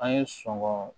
An ye sɔngɔn